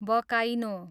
बकाइनो